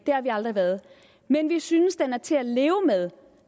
har vi aldrig været men vi synes den er til at leve med